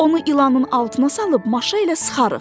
Onu ilanın altına salıb maşa ilə sıxarıq.